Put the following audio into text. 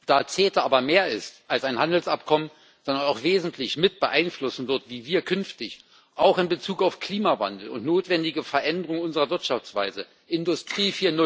Da CETA aber mehr ist als ein Handelsabkommen, sondern auch wesentlich mit beeinflussen wird, wie wir künftig auch in Bezug auf Klimawandel und notwendige Veränderungen unserer Wirtschaftsweise, Industrie